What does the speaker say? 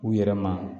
U yɛrɛ ma